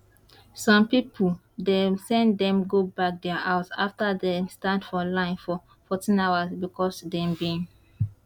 some pipo dem send dem go back dia house afta dem stand for line for 14 hours becos dem bin